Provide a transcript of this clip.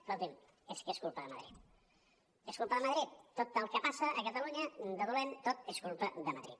escolti’m és que és culpa de madrid és culpa de madrid tot el que passa a catalunya de dolent tot és culpa de madrid